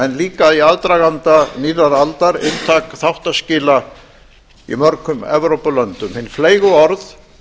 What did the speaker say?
en líka í aðdraganda nýrrar aldar inntak þáttaskila í mörgum evrópulöndum hin fleygu orð